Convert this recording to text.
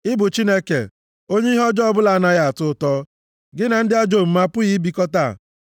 Ị bụ Chineke, onye ihe ọjọọ ọbụla anaghị atọ ụtọ; gị na ndị ajọ omume apụghị ibikọta.